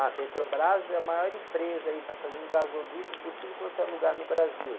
Ah, Petrobras é a maior empresa aí, tá fazendo gasoduto por tudo quanto é lugar no Brasil.